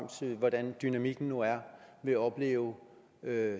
hvordan dynamikken nu er vil opleve